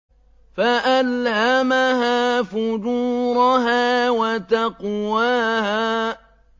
فَأَلْهَمَهَا فُجُورَهَا وَتَقْوَاهَا